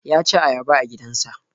Ya saci ayaba a gidansa.